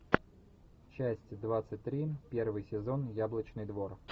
часть двадцать три первый сезон яблочный двор